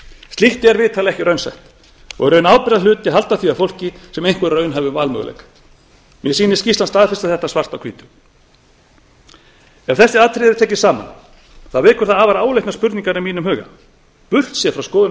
slíkt er vitanlega ekki raunsætt og í raun ábyrgðarhluti að halda því að fólki sem einhverjum raunhæfum valmöguleika mér sýnist skýrslan staðfesta þetta svart á hvítu ef þessi atriði eru tekin saman vekur það afar áleitnar spurningar í mínum huga burt séð frá skoðun